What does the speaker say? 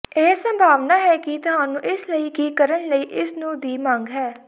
ਇਹ ਸੰਭਾਵਨਾ ਹੈ ਕਿ ਤੁਹਾਨੂੰ ਇਸ ਲਈ ਕੀ ਕਰਨ ਲਈ ਇਸ ਨੂੰ ਦੀ ਮੰਗ ਹੈ